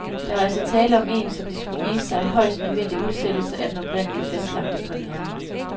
Der var altså tale om en, som det skulle vise sig, højst nødvendig udsættelse af den oprindeligt fastlagte premiere.